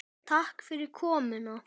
Takk fyrir komuna.